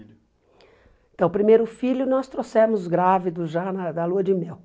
filho. Então, o primeiro filho nós trouxemos grávidos já na da lua de mel.